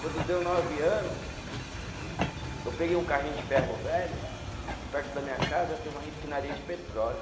Quando deu nove ano, eu peguei um carrinho de ferro velho e perto da minha casa tem uma refinaria de petróleo.